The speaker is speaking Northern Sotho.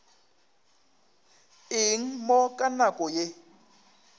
eng mo ka nako ye